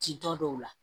Ci tɔ dɔw la